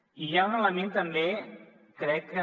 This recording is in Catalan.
i hi ha un element també crec que